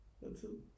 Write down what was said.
noget tid